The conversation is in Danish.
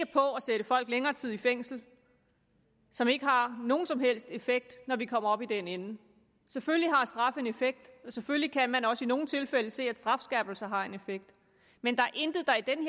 på at sætte folk længere tid i fængsel som ikke har nogen som helst effekt når vi kommer op i den ende selvfølgelig har straf en effekt og selvfølgelig kan man også i nogle tilfælde se at strafskærpelser har en effekt men der er intet der i den